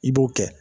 I b'o kɛ